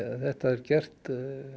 þetta er gert